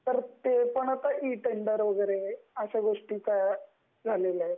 तर आता ई-टेंडर वगरे अशा गोष्टी पण झालेल्या आहे,